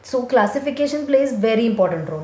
So classification plays very important role.